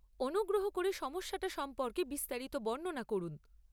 অনুগ্রহ করে সমস্যাটা সম্পর্কে বিস্তারিত বর্ণনা করুন।